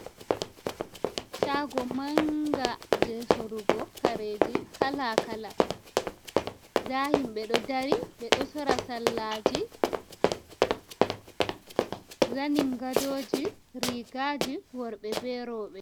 Shàgo manga je sorugo karêji kala kala. Ŋda himɓe ɗo dari ɓeɗo sora sallaji, zaningadôji, rîgàji worɓe be roɓe.